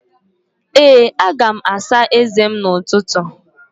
Ee, aga m asa eze m n'ụtụtụ